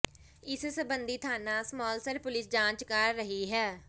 ਇਸ ਸਬੰਧੀ ਥਾਣਾ ਸਮਾਲਸਰ ਪੁਲਿਸ ਜਾਂਚ ਕਰ ਰਹੀ ਹੈ